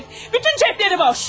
Bütün cibləri boş.